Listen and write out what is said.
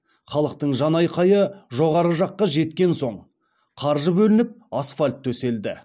халықтың жан айқайы жоғары жаққа жеткен соң қаржы бөлініп асфальт төселді